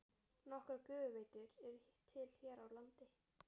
Nokkrar gufuveitur eru til hér á landi.